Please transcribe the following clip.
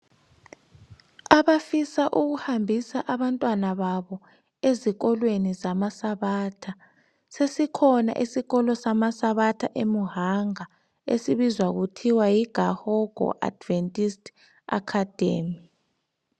Abafisa ukuhambisa abantwana babo ezikolweni zamasabatha sesikhona isikolo samasabatha eMuhanga esibizwa kuthiwa yi Gahango Adventist Academy.